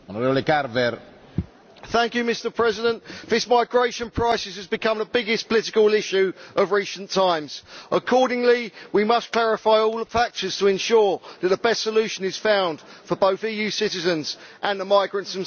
Mr President, this migration crisis has become the biggest political issue of recent times. Accordingly, we must clarify all the factors to ensure that the best solution is found for both EU citizens and the migrants themselves.